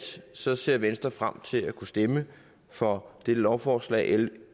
ser ser venstre frem til at kunne stemme for dette lovforslag l